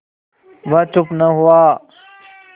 वह चुप न हुआ